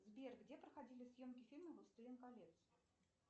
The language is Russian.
сбер где проходили съемки фильма властелин колец